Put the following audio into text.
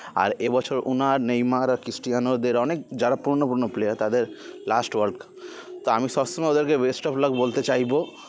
আর এ বছর ওনার নেইমার আর কৃষ্টিয়ানোদের অনেক যারা পূরোনো পূরোনো player তাদের last world cup তা আমি সবসময় ওদেরকে best of luck বলতে চাইবো